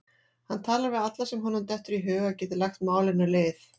Hann talar við alla sem honum dettur í hug að geti lagt málinu lið.